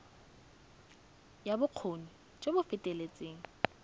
ya bokgoni jo bo feteletseng